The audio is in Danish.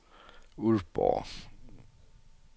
Ulfborg